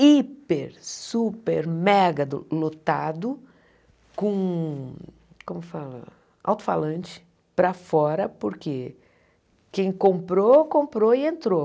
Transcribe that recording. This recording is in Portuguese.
hiper, super, mega do lotado com, como fala, alto-falante para fora, porque quem comprou, comprou e entrou.